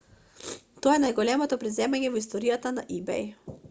тоа е најголемото преземање во историјата на ибеј